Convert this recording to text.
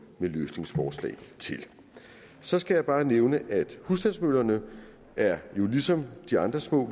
med løsningsforslag til så skal jeg bare nævne at husstandsmøllerne jo ligesom de andre små